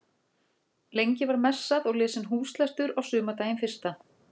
Lengi var messað og lesinn húslestur á sumardaginn fyrsta.